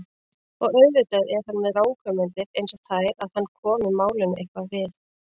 Og auðvitað er hann með ranghugmyndir einsog þær að hann komi málinu eitthvað við.